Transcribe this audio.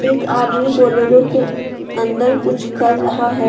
एक आदमी बोलेरो के अंदर कुछ कर रहा है